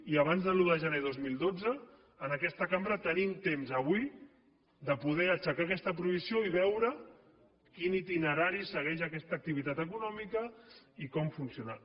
i abans de l’un de gener del dos mil dotze en aquesta cambra tenim temps avui de poder aixecar aquesta prohibició i veure quin itinerari segueix aquesta activitat econòmica i com funciona